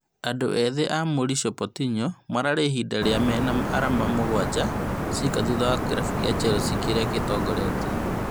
Andũ ethĩ a Maurice Pochettino mararĩ ihinda rĩu mena arama mũgwanja ciika thutha wa kĩrabu kĩa Chelsea kĩria gĩtongoretie